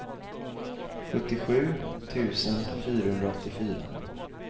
sjuttiosju tusen fyrahundraåttiofyra